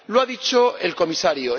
Lo ha dicho el Comisario.